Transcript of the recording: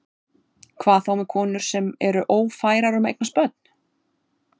Hvað þá með konur sem eru ófærar um að eignast börn?